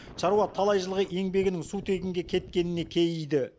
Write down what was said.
шаруа талай жылғы еңбегінің су тегінге кеткеніне кейиді